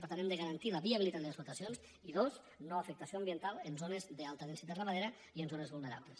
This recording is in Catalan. per tant hem de garantir la viabilitat de les explotacions i dos no afectació ambiental en zones d’alta densitat ramadera i en zones vulnerables